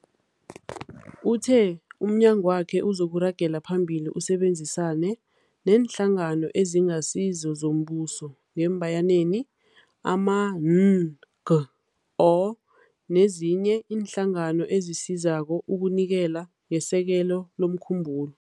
Uthe umnyagwakhe uzoragela phambili usebenzisane neeNhlangano eziNgasizo zoMbuso, ama-NGO, nezinye iinhlangano ezisizako ukunikela ngesekelo lomkhumbulo.